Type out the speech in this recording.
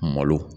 Malo